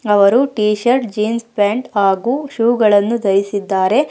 ಅವರು T shirt jeans pant ಹಾಗು shoe ಗಳನ್ನು ಧರಿಸಿದ್ದಾರೆ.